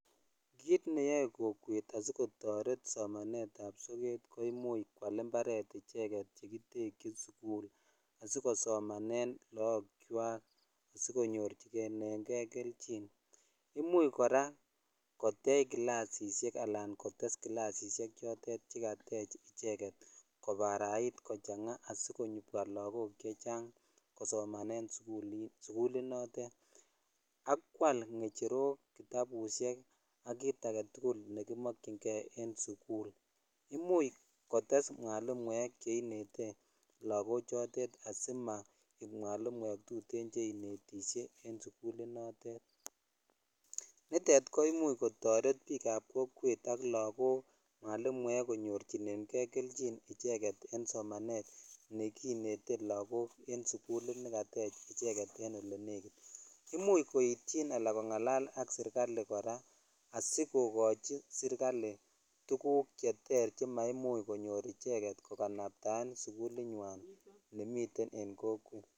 Kiit neyoe kokweet asigotoreet somaneet ab sokaat koimuuch kwaal imbareet ichegeet yegityekyiin sugul asigosomaneeen loog kwaak asigonyorchinegee kelchin, imuch koraa kopcheei kilasisek alaan kotees kilasisiek chegateech icheget kobaraiit kochanga asigobwa lagook chechaang' kosomanen suguliit noteet, ak kwaal ngecherook kitabushek ak kiit agetugul negimokyingee en suguul, imuuch koo tess mwalimuek cheinete lagook choteet asimaek mwalimuek tuteen cheinetisyee en suguliit noteet, niteet koimuch kotoreet biik ab kokweet ak lagook mwalimuek konyorchinegee kelchin ichegeet en somaneet neginete lagook en suguliit negateech icheget en elenegiit, imuuch koityiin anan kongalaal ak serkalii koraa asigogochi serkalii tuguuk cheter chemaimuch konyoor ichegeet koganabtaeen suguulit nywaan nemiten en kokweet.